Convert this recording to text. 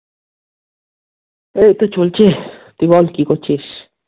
এই তো চলছে, তুই বল কী করছিস?